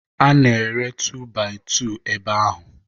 A na-ere tu baị tu ebe ahụ.